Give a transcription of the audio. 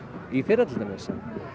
í fyrra til dæmis